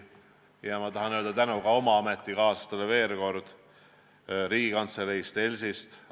Ma tahan veel kord avaldada tänu ka oma ametikaaslastele Riigikantseleist, ELS-ist.